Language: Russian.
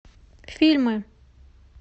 фильмы